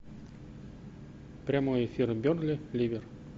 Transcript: прямой эфир бернли ливер